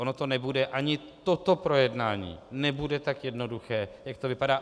Ono to nebude, ani toto projednání nebude tak jednoduché, jak to vypadá.